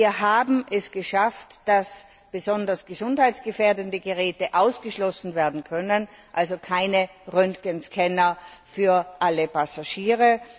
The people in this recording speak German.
Wir haben es geschafft, dass besonders gesundheitsgefährdende Geräte ausgeschlossen werden können also keine Röntgenscanner für alle Passagiere.